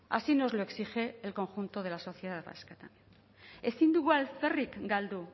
así nos lo exige el conjunto de la sociedad vasca también ezin dugu alferrik galdu